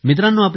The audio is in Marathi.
मित्रांनो